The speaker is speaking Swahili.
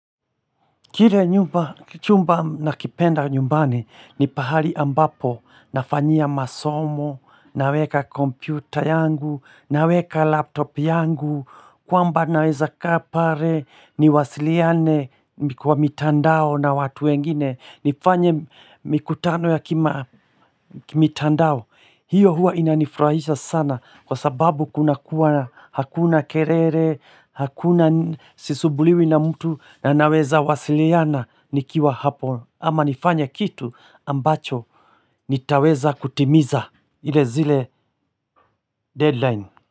Kire chumba na kipenda nyumbani ni pahali ambapo nafanyia masomo, naweka kompyuta yangu, naweka laptop yangu, kwamba naweza kaa pale ni wasiliane kwa mitandao na watu wengine. Nifanye mikutano ya kimitandao hiyo hua inanifurahisha sana Kwa sababu kuna kuwa hakuna kerere Hakuna sisubuliwi na mtu na naweza wasiliana nikiwa hapo Ama nifanye kitu ambacho nitaweza kutimiza ile zile deadline.